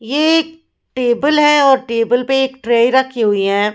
ये एक टेबल है और टेबल पे एक ट्रे रखी हुई है।